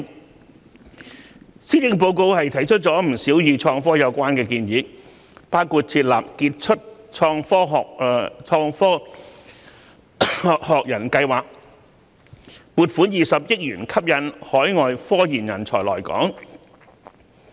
為此，施政報告提出了不少與創科有關的建議，包括設立傑出創科學人計劃，撥款20億元吸引海外科研人才來港。